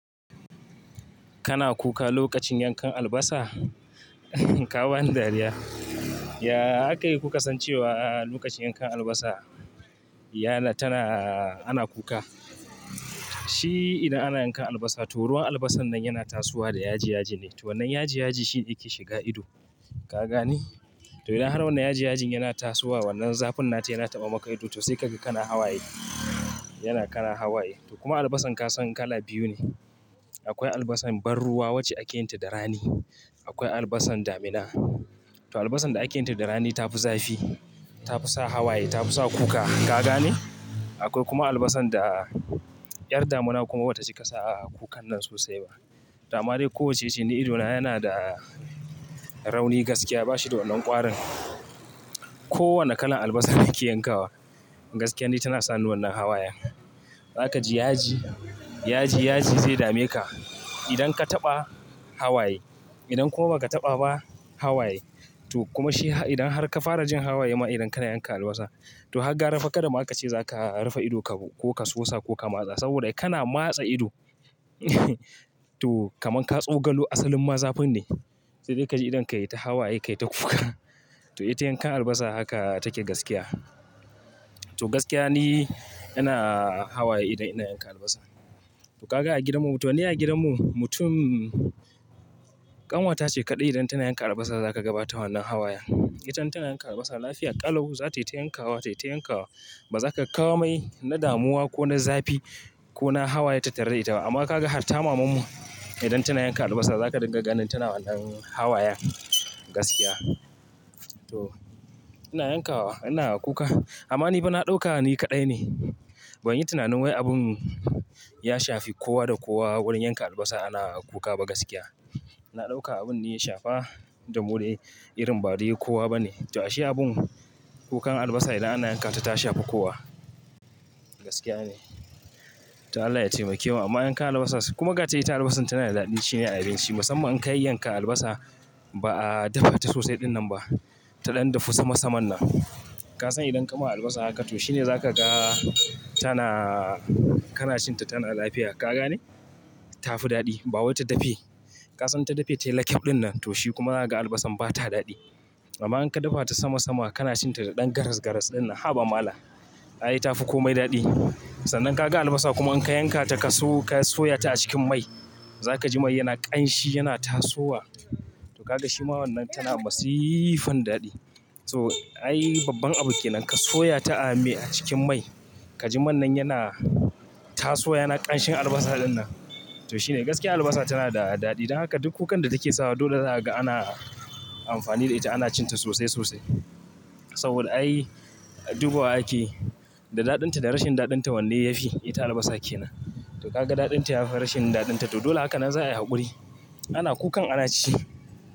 Kana kuka lokacin yankan albasa? Kawa ni dariya. Yaaa aka yi kuke san cewa a lokacin yankan albasa yana tana ana kuka. Shi idan ana yankan albasa to ruwan albasar nan yana tasowa da yaji yaji ne, to wannan yaji yaji shi yake shiga ido. Ka gane? To idan har wannan yaji yajin yana tasowa wannan zafin nata yana taɓa maka ido to sai kaga kana hawaye. Yana kara hawaye. To kuma albasan ka san kala biyu ne. Akwai albasan ban ruwa wacce ake yin ta da rani. Akwai albasan damina. To albasan da ake yin ta da rani ta fi zafi, ta fi sa hawaye, ta fi sa kuka. Ka gane? Akwai kuma albasan da ƴar damina kuma bata cika sa kukan nan sosai ba. To ama dai kowacce ce ni ido na yana da rauni gaskiya bashi da wannan ƙwarin. Ko wane kalan albasa ni ki yankawa gaskiya ne tana sa ni wannan hawayen. Zaka ji yaji, yaji yaji zai dame ka. Idan ka taɓa hawaye, idan kuma ba ka taɓa ba hawaye to kuma shi idan har ka fara jin hawaye ma idan kana yanka albasa to har gara fa kada ma aka ce za ka rufe ido ka ko ka sosa ko ka matsa saboda kana matsa ido. To kaman ka tso galu asalin ma zafin ne. Sai dai ka ji idon ka yi ta hawaye ka yi ta kuka. To ita yankan albasa haka take gaskiya. To gaskiya ni ina hawaye idan ina yankan albasa. To ka ga a gidanmu to ni a gidanmu mutum ƙanwata ce kaɗai idan tana yankan albasa za ka gabata wannan hawayen. Ita in tana yanka albasa lafiya ƙalau za tai ta yankawa, tai ta yankawa ba zaka ga komai na damuwa ko na zafi ko na hawaye tattare ita ba. Amma ka ga hatta mamanmu idan tana yanka albasa za ka ringa ganin tana wannan hawayen gaskiya. To ina yankawa ina kuka. Amma ni fa na ɗauka ni kaɗai ne. Ban yi tunanin wai abun Ya shafi kowa da kowa wurin yanka albasa ana kuka ba gaskiya. Na ɗauka abun ni ya shafa domin irin ba dai kowa ba ne. To ashe abun kukan albasa idan ana yanka ta ta shafi kowa, gaskiya ne. To Allah ya taimakemu amma yankan albasa, kuma gata ita albasan tana da daɗin ci ne a abinci. Musamman in ka yayyanka albasa ba a dafa ta sosai ɗin nan ba. Ta ɗan dafu sama saman nan. Ka san idan ka ma albasa haka to shi ne za ka ga tana, kana cin ta tana lafiya. Ka gane? Ta fi daɗi ba wai ta dafe. Ka san in ta dafe tai lakaf ɗinnan to shi kuma za ka ga albasar ba ta daɗi. Amma in ka dafa ta sama sama kana cin ta daɗan garas, garas ɗin nan haba malam. Ai ta fi komai daɗi. Sannan ka ga albasa kuma in ka yankata ka so, ka soya ta a cikin mai za ka ji mai yana ƙanshi yana tasowa. To ka ga shi ma wannan tana masifan daɗi. So ai babban abu ke nan ka soya ta a me, a cikin mai. Ka ji man nan yana tasowa yana ƙanshin albasa ɗin nan. To shi ne gaskiya albasa tana da daɗi. Dan haka duk kukan da take sawa dole za ka ga ana amfani da ita ana cin ta sosai sosai. Saboda ai dubawa ake yi da daɗin ta da rashin daɗin ta wanne ya fi? Ita albasa ke nan. To ka ga daɗin ta ya fi rashin daɗin ta to dole haka nan za ai haƙuri. Ana kukan ana ci.